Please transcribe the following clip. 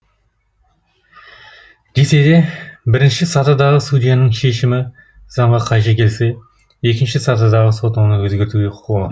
десе де бірінші сатыдағы судьяның шешімі заңға қайшы келсе екінші сатыдағы сот оны өзгертуге құқылы